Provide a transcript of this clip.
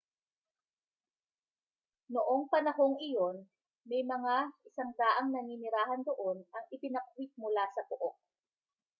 noong panahong iyon may mga 100 naninirahan doon ang ibinakwit mula sa pook